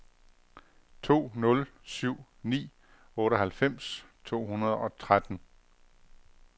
to nul syv ni otteoghalvfems to hundrede og tretten